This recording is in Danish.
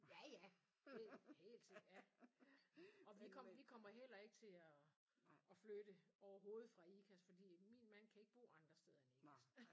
Ja ja det helt sikkert ja og vi kommer vi kommer heller ikke til at at flytte overhovedet fra Ikast fordi min mand kan ikke bo andre steder end Ikast